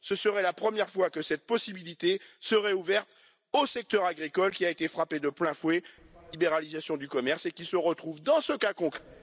Ce serait la première fois que cette possibilité serait ouverte au secteur agricole, qui a été frappé de plein fouet par la libéralisation du commerce, et qui se retrouve dans ce cas concret...